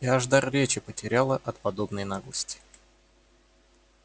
я аж дар речи потеряла от подобной наглости